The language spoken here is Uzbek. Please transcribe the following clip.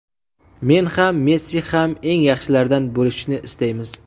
Men ham, Messi ham eng yaxshilardan bo‘lishni istaymiz.